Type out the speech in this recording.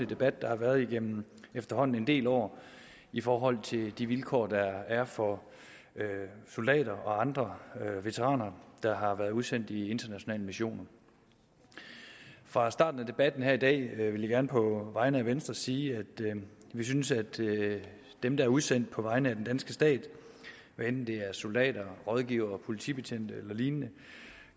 debat der har været igennem efterhånden en del år i forhold til de vilkår der er for soldater og andre veteraner der har været udsendt i internationale missioner fra starten af debatten i dag gerne på vegne af venstre sige at vi synes at dem der er udsendt på vegne af den danske stat hvad enten det er soldater rådgivere politibetjente eller lignende